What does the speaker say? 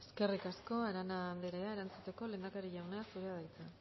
eskerrik asko arana anderea erantzuteko lehendakari jauna zurea da hitza